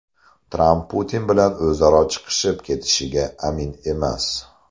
Tramp Putin bilan o‘zaro chiqishib ketishiga amin emas.